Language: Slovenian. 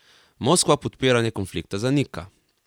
Moskva podpiranje konflikta zanika.